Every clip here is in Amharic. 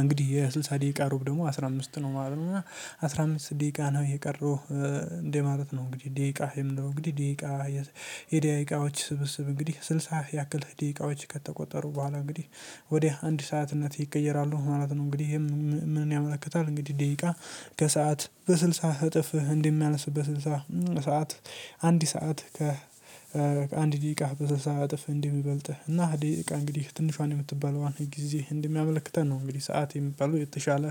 እንግዲህ የስልሳ ደቂቃ ሩብ ደግሞ አስራ አምስት ነው ማለት ነው። እና አስራ አምስት ደቂቃ ነው የቀረው እንደ ማለት ነው። እንግዲህ ደቂቃ የምንለው እንግዲህ የደቂቃዎች ስብስብ እንግዲህ ስልሳ ያክል ደቂቃዎች ከተቆጠሩ በኋላ እንግዲህ ወደ አንድ ሰዓትነት ይቀየራሉ ማለት ነው። እንግዲህ ምን ያመለክታል? እንግዲህ ደቂቃ ከሰአት በስልሳ እጥፍህ እንደሚያንስ በስልሳ ሰዓት አንድ ሰዓት ከ አንድ ደቂቃ በስልሳ እጥፍ እንደ ሚበልጥ እና ደቂቃ እንግዲህ ትንሿን የምትባለዋን ጊዜ እንደሚያመለክተን ነው እንግዲህ ሰዓት የሚባለው የተሻለ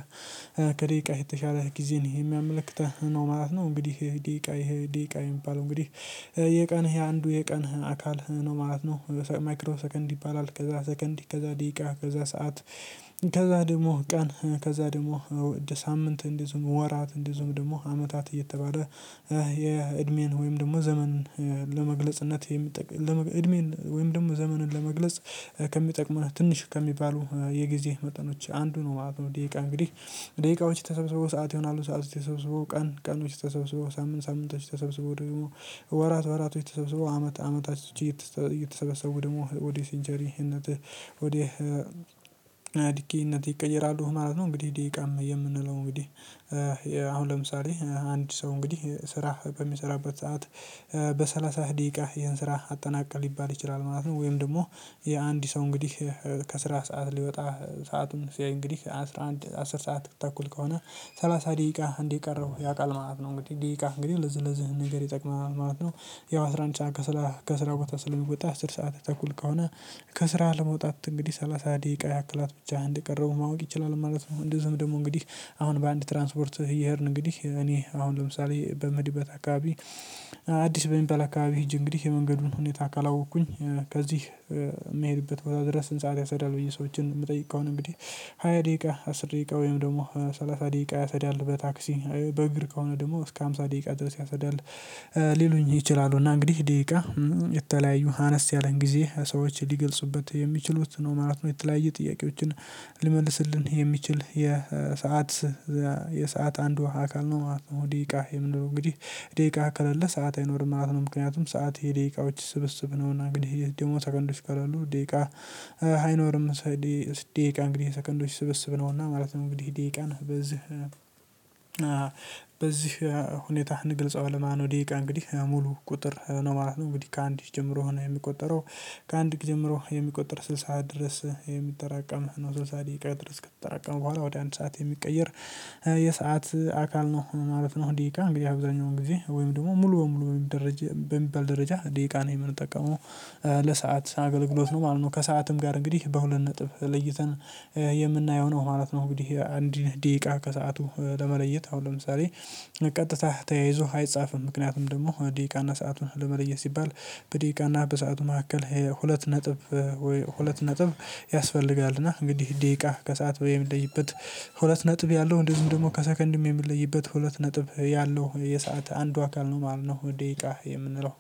ከደቂቃ የተሻለ ጊዜ ነው የሚያመለክተን ነው ማለት ነው። እንግዲህ ደቂቃ ይሄ ደቂቃ የሚባል እንግዲህ የቀን አንዱ የቀን አካል ነው ማለት ነው። ማይክሮ ሰከንድ ይባላል ከዛ ሰከንድ ከዛ ደቂቃ ከዛ ሰዓት ከዛ ደግሞ ቀን ከዛ ደግሞ ሳምንት እንደዚሁም ወራት እንደዚሁም ደግሞ አመታት እየተባለ የእድሜን ወይም ደግሞ ዘመን ለመግለጽነት እድሜን ወይም ደግሞ ዘመንን ለመግለጽ ከሚጠቅምን ትንሽ ከሚባሉ የጊዜ መጠኖች አንዱ ነው ማለት ነው። ደቂቃ እንግዲህ ደቂቃዎች ተሰብስበው ሰዓት ይሆናሉ ሰዓት ተሰብስበው ቀን ቀኖች ተሰብስበው ሳምንት ሳምንቶች ተሰብስበው ደግሞ ወራት ወራቶች ተሰብስበው አመታቶች እየተሰበሰቡ ደግሞ ወደ ሴንቸሪነት ድኬነት ይቀየራሉ ማለት ነው። እንግዲህ ደቂቃም የምንለው እንግዲህ አሁን ለምሳሌ አንድ ሰው እንግዲህ ስራ በሚሰራበት ሰዓት በሰላሳ ደቂቃ ይህን ስራ አጠናቅ ሊባል ይችላል ማለት ነው። ወይም ደግሞ የአንድ ሰው እንግዲህ ከስራ ሰዓት ሊወጣ ሰአቱን ሲያይ እንግዲህ አስር ሰዓት ተኩል ከሆነ ስላሳ ደቂቃ እንደቀረው ያውቃል ማለት ነው። እንግዲህ ደቂቃ እንግዲህ ለዚህ ለዚህ ነገር ይጠቅመናል ማለት ነው። ያው አስራ አንድ ስዓት ከስላሳ ከስራ ቦታ ስለሚወጣ አስር ሰዓት ተኩል ከሆነ ከስራ ለመውጣት እንግዲህ ሰላሳ ደቂቃ ያክላት ብቻ እንደቀረወ ማወቅ ይችላል ማለት ነው። እንደዚህም ደግሞ እንግዲህ አሁን በአንድ ትራንስፖርት እየሄድን እንግዲህ እኔ አሁን ለምሳሌ በምሄድበት አካባቢ አዲስ በሚባል አካባቢ ሂጀ እንግዲህ የመንገዱን ሁኔታ ካለወኩኝ ከዚህ የምሄድበት ወይ ድረስ ስንት ሰዓት ያሰዳል? ብዬ ሰዎችን የምጠይቀውን እንግዲህ ሃያ ደቂቃ አስር ደቂቃ ወይም ደግሞ ሰላሳ ደቂቃ ያስሄል በታክሲ በእግር ከሆነ ደግሞ እስከ ሃምሳ ደቂቃ ድረስ ያስሄል ሊሉኝ ይችላሉ። እና እንግዲህ ደቂቃ የተለያየ አነስ ያለን ጊዜ ሰዎች ሊገልጽበት የሚችሉት ነው ማለት ነው የተለያየ ጥያቄዎችን ሊመልስልን የሚችል የሰዓት የሰዓት አንድዎ አካል ነው ማለት ነው። ደቂቃ የምንለው እንግዲህ ደቂቃ ከሌለ ሰዓት አይኖርም ማለት ነው። ምክንያቱም ሰዓት የደቂቃዎች ስብስብ ነው እና እንግዲህ ደግሞ ሰከንዶች ከለሉ ደቂቃ አይኖርም። ደቂቃ እንግዲህ ሰከንዶች ስብስብ ነውና ማለት ነው እንግዲህ ደቂቃን በዚህ ሁኔታ እንግልፅዋለን ማለት ነው። ደቂቃ እንግዲህ ሙሉ ቁጥር ነው ማለት ነው። እንግዲህ ከአንድ ጀምሮ ነው የሚቆጠረው ከአንድ ጊዜ ጀምሮ የሚቆጠር ስልሳ ድረስ የሚጠራቀም ነው ስልሳ ደቂቃ ድረስ ከተጠራቀመ በኋላ ወደ አንድ ሰዓት የሚቀየር የሰዓት አካል ነው ማለት ነው። ደቂቃ እንግዲህ አብዛኛው ጊዜ ወይም ደግሞ ሙሉ በሙሉ ወይም በሚባል ደረጃ ደቂቃ ነው የምንጠቀመው ለሰአት አገልግሎት ነው ማለት ነው። ከሰአትም ጋር እንግዲህ በሁለት ነጥብ ለይተን የምናየው ነው ማለት ነው። አንድ ደቂቃ ከሰአቱ ለመለየት አሁን ለምሳሌ ቀጥታ ተያይዞ አይጻፍም። ምክንያቱም ደግሞ ደቂቃና ሰአቱን ለመለየት ሲባል በደቂቃና በሰአቱ መካከል ሁለት ነጥብ ሁለት ነጥብ ያስፈልጋል። እና እንግዲህ ደቂቃ ከሰአት የምንለይበት ሁለት ነጥብ ያለው እንደዚሁ ደግሞ ከሰከንድም የምንለይበት ሁለት ነጥብ ያለው የሰዓት አንዱ አካል ነው ማለት ነው። ደቂቃ የምንለው